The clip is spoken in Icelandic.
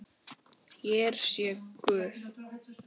Hér sé Guð